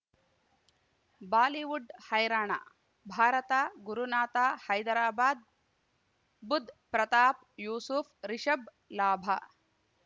Bollywood ಹೈರಾಣ ಭಾರತ ಗುರುನಾಥ ಹೈದರಾಬಾದ್ ಬುಧ್ ಪ್ರತಾಪ್ ಯೂಸುಫ್ ರಿಷಬ್ ಲಾಭ